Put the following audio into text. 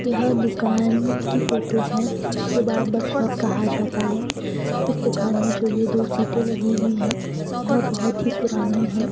यह दुकान की फोटो है जिसे बार्बर शॉप कहा जाता है उस दुकान में जो ये दो सीटे लगी हुई है यह बहुत ही पुरानी है।